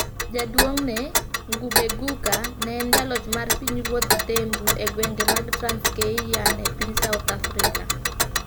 Jaduong'ne, Ngubengcuka, ne en jaloch mar pinyruodh Thembu e gwenge mag Transkeian e piny South Africa,